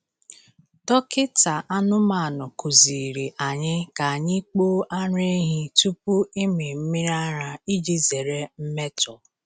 Dọkịta anụmanụ kụziri anyị ka anyị kpoo ara ehi tupu ịmị mmiri ara iji zere mmetọ.